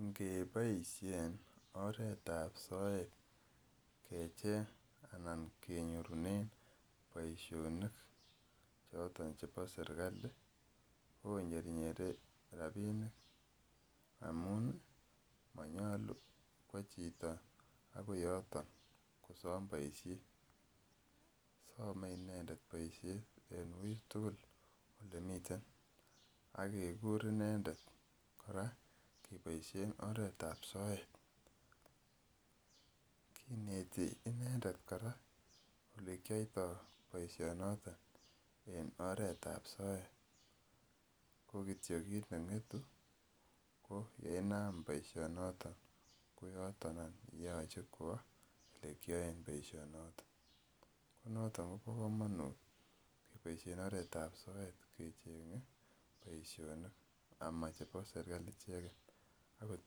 Ingeboisien oretab soet keboisien anan kenyorun boisionik choton chebo serkali ih konyernyere rabinik amun ih manyalu kua chito akoi yoton kosam boisiet. Same inendet boisiet en uui tugul akekur inendet kora ak keboisien oretab soet. Kinetini inendet kora elekiato boisiet noto en oretab soet. Ko kityo kit neng'etu nenato mayache kua elekian boisiat nato. Ko noto kobo kamanut keboisien oretab sokat kecheng'e boisionik ama chebo serkali ichegen akoth en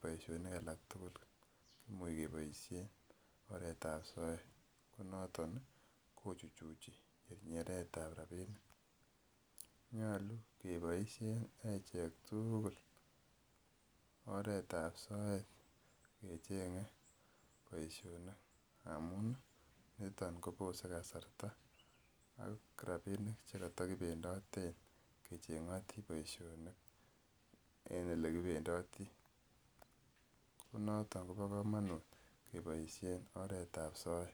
boisionik alak tugul en oretab soet. Ko naton kochuchuchi nyernyeretab rabinik. Nyalu keboisien echek tugul oretab soet kecheg'e boisionik ngamun ih , niton kobose kasarta ak rabinik chekata kimendaten icheng'ati boisionik en elekibemdati.